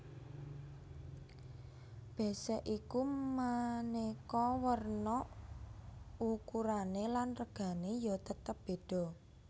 Bésék iku manéka werna ukurané lan regané ya tetep bédha